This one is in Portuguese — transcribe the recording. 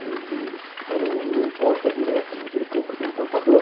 O o hospital não não importa direto, mas ele compra de importador.